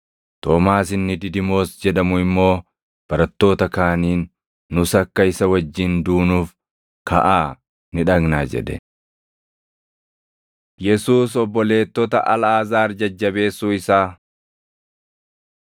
Toomaas inni Didimoos jedhamu immoo barattoota kaaniin, “Nus akka isa wajjin duunuuf kaʼaa ni dhaqnaa” jedhe. Yesuus Obboleettota Alʼaazaar Jajjabeessuu Isaa